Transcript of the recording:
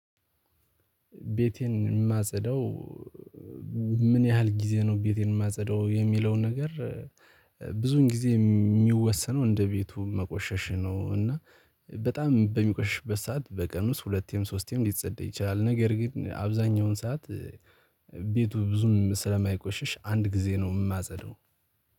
ቤቴን የማጸደው ምን ያህል ጊዜ ነው? ቤቴን የማጸደው የሚለውን ነገር ብዙን ጊዜ የሚወሰነው እንደ ቤቱ መቆሸሽ ነው። እና በጣም በሚቆሽሽበት ሰዓት በቀን ውስጥ ሁለቴም ሶስቴም ሊጸድይ ይችላል። ነገር ግን አብዛኛውን ሰዓት ቤቱ ብዙም ስለማይቆሽሽ አንድ ጊዜ ነው። የማጸዳው